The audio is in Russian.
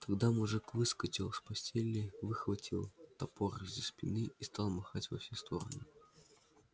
тогда мужик выскочил с постели выхватил топор из-за спины и стал махать во все стороны